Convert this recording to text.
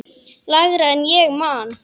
Lægra en ég man.